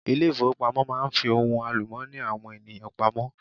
Ilé ìfowópamọ́ máa n fi ohun àlùmọ́ọ́nì àwọn ènìyàn pamọ́